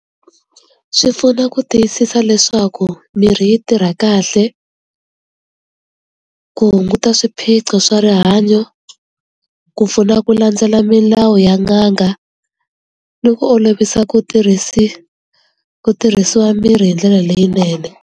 Swi pfuna ku tiyisisa leswaku mirhi yi tirha kahle ku hunguta swiphiqo swa rihanyo, ku pfuna ku landzela milawu ya n'anga ni ku olovisa ku tirhisi ku tirhisiwa mirhi hi ndlela leyinene.